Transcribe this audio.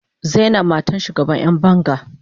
Zainab matar shugaban yan banga.